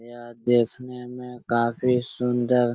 यह देखने में काफी सुन्दर --